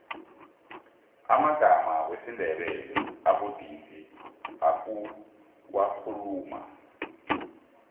amagama wesindebele abudisi ukuwakhuluma